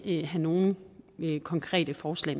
ikke have nogen konkrete forslag